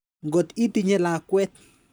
Ngot itinye lakwet.